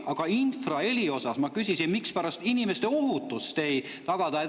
Aga infraheli kohta ma küsisin, mispärast inimeste ohutust ei tagata.